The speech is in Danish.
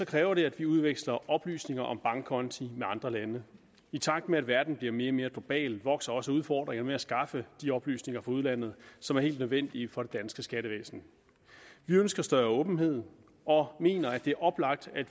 kræver det at vi udveksler oplysninger om bankkonti med andre lande i takt med at verden bliver mere og mere global vokser også udfordringerne med at skaffe de oplysninger fra udlandet som er helt nødvendige for det danske skattevæsen vi ønsker større åbenhed og mener det er oplagt at